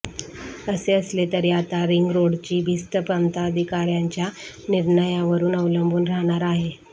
असे असले तरी आता रिंगरोडची भिस्त प्रांताधिकाऱयांच्या निर्णयावरच अवलंबून राहणार आहे